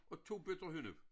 Og 2 bøtter hønnu